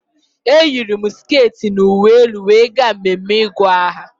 Eyiri m sket na uwe elu were gaa mmeme ịgụ aha